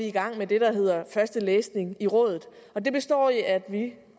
i gang med det der hedder første læsning i rådet det består i at vi